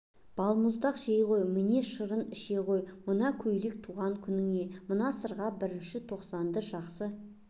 балмұздақ жей ғой міне шырын іше ғой мына көйлек туған күніңе мына сырға бірінші тоқсанды жақсы